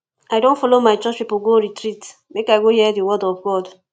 i don folo my church pipo go retreat make i go hear di word of god